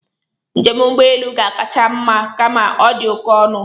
Njem ụgbọelu ga-akacha mma kama ọ dị oké ọnụ